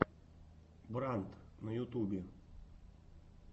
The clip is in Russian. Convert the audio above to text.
брандт на ютубе